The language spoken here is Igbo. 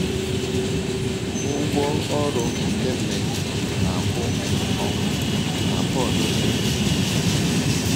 “ Ụgwọ ọrụ nke mmehie na - akwụ bụ ọnwụ, ” ka Pọl dere. um